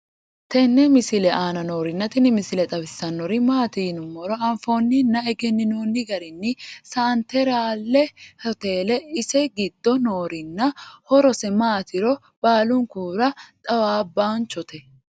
tenne misile aana noorina tini misile xawissannori maati yinummoro anffonninna egeniinnonni garinni senteraalle hoteleetti ise giddo noorinna horosse maattiro baallunkurra xawaabbanchotte